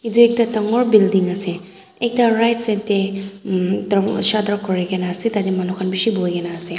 yate ekta dangor building ase ekta right side teh um darwaja toh khori ke na ase tate manu khan bishi bohi ke na ase.